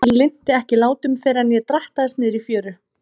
Hann linnti ekki látum fyrr en ég drattaðist niður í fjöru.